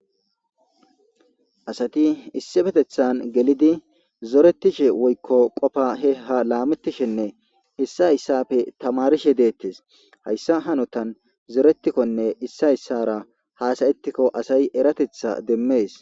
Asati issi petethan gelidi zoretishe woykko qofa he ha laamettishenne hissa issapfe tamarishe deettes hayssa hanotan zoretikkonne issa issara haasayettikko asay eratetha demmees.